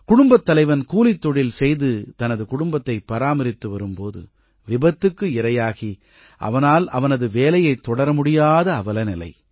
குடும்பத் தலைவன் கூலித்தொழில் செய்து தனது குடும்பத்தைப் பராமரித்து வரும் போது விபத்துக்கு இரையாகி அவனால் அவனது வேலையைத் தொடர முடியாத அவலநிலை